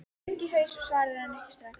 Hann hengir haus og svarar henni ekki strax.